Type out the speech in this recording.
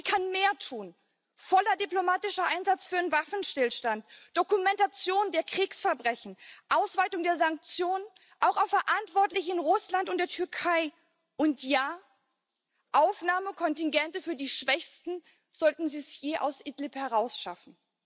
Aber sie kann mehr tun voller diplomatischer Einsatz für einen Waffenstillstand, Dokumentation der Kriegsverbrechen, Ausweitung der Sanktionen auch auf Verantwortliche in Russland und der Türkei, und ja, Aufnahmekontingente für die Schwächsten, sollten sie es je aus Idlib heraus schaffen.